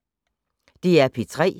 DR P3